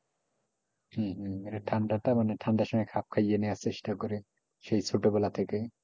হম হম এটা ঠান্ডাটা মানে ঠান্ডার সময় খাপ খাইয়ে নেওয়ার চেষ্টা করে সেই ছোটো বেলা থেকে,